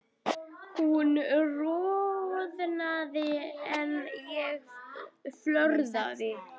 Hún roðnar en ég fölna.